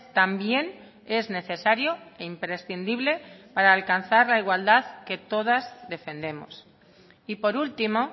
también es necesario e imprescindible para alcanzar la igualdad que todas defendemos y por último